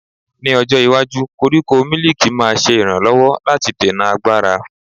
Ní ọjọ́ iwájú, koríko mílìkì máa ṣe ìrànlọ́wọ́ láti dènà àgbàrá.